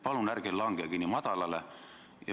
Palun ärge langege nii madalale!